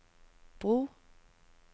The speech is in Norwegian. bro